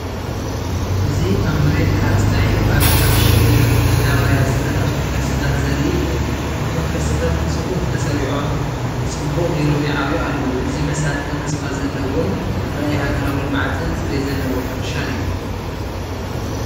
እዚ ኣብ መሬት ሓረስታይ ኣብ ዝተዓሸገ መዳባርያ ዝተተኽሉ ፈልሲታት ዘርኢ እዩ። እቶም ፈልሲታት ብጽፉፍ ተሰሪዖም ጽቡቕ ጌሮም ይዓብዩ ኣለዉ። እዚ መሳጥን ተስፋ ዘለዎን ራእይ ሃገራዊ ልምዓትን ፅሬት ዘለዎ ሕርሻን እዩ።